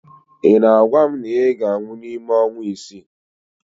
Ị na-agwa m na ị ga-anwụ n'ime ọnwa isii